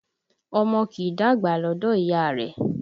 Ọmọ kì í dàgbà lọdọ ìyá rẹ